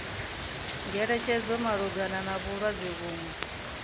ngeletshedzo malugana na vhulwadze vhuṅwe